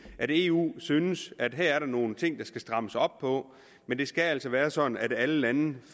at eu synes at her er der nogle ting der skal strammes op på men det skal altså være sådan at alle lande